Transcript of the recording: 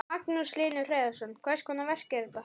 Magnús Hlynur Hreiðarsson: Hvers konar verk er þetta?